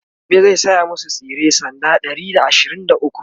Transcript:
gobe zai saya masu tsire sanda Ɗari da ashirin da ukwu